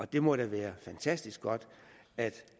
det må da være fantastisk godt at